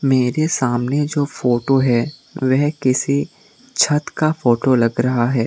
मेरे सामने जो फोटो है वह किसी छत का फोटो लग रहा है।